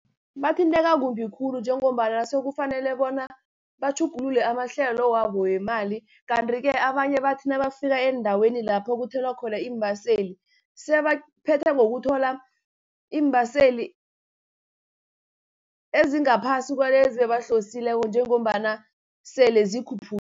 Bathinteka kumbi khulu njengombana sekufanele bona, batjhugulule amahlelo wabo wemali. Kanti-ke abanye bathi nabafika eendaweni lapho kuthelwa khona iimbaseli, sebaphetha ngokuthola iimbaseli ezingaphasi kwalezi ebzihlosileko njengombana sele